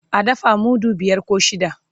a dafa mudu biyar koh shida